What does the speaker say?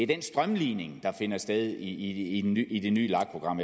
den strømlining der finder sted i i det nye lag program